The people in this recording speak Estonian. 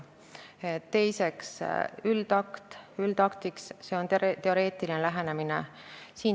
Teiseks, üldakt üldaktiks, see on teoreetiline lähenemine.